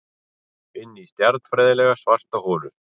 Inní stjarnfræðilega svarta holu.